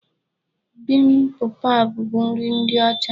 Bibimbap bụ nri ndị ọcha.